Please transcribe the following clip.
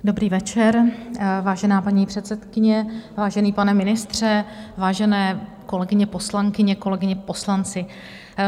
Dobrý večer, vážená paní předsedkyně, vážený pane ministře, vážené kolegyně poslankyně, kolegové poslanci.